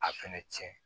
A fɛnɛ cɛn